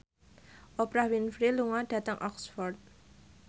Oprah Winfrey lunga dhateng Oxford